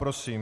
Prosím.